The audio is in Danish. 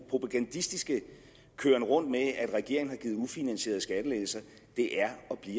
propagandistiske køren rundt med at regeringen har givet ufinansierede skattelettelser er